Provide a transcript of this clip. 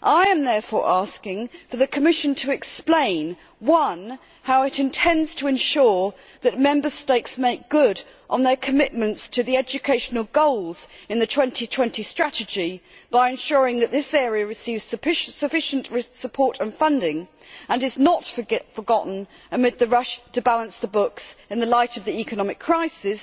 I am therefore asking for the Commission to explain, firstly, how it intends to ensure that Member States make good on their commitments to the educational goals in the 2020 strategy by ensuring that this area receives sufficient support and funding and is not forgotten amid the rush to balance the books in the light of the economic crisis